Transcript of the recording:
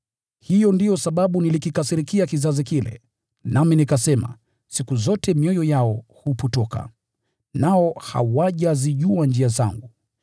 Hiyo ndiyo sababu nilikasirikia kizazi kile, nami nikasema, ‘Siku zote mioyo yao imepotoka, nao hawajazijua njia zangu.’